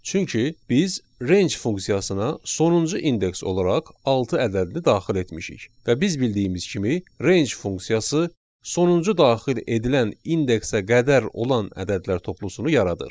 Çünki biz range funksiyasına sonuncu indeks olaraq altı ədədini daxil etmişik və biz bildiyimiz kimi range funksiyası sonuncu daxil edilən indeksə qədər olan ədədlər toplusunu yaradır.